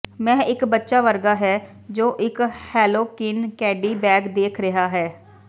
ਮੈਂ ਇਕ ਬੱਚਾ ਵਰਗਾ ਹੈ ਜੋ ਇਕ ਹੈਲੋਕਿਨ ਕੈਡੀ ਬੈਗ ਦੇਖ ਰਿਹਾ ਹੈ